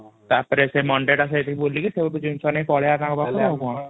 ତା ପରେ ଏଠି ମୋଣ୍ଡ ଟା ସେଇଠି ବୁଲିକି ଜିନିଷ ନେଇକି ପଳେଇବା ଆଉ କ'ଣ ?